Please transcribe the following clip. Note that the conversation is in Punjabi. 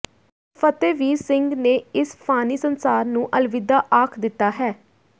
ਫ਼ਤਿਹਵੀਰ ਸਿੰਘ ਨੇ ਇਸ ਫਾਨੀ ਸੰਸਾਰ ਨੂੰ ਅਲਵਿਦਾ ਆਖ ਦਿੱਤਾ ਹੈ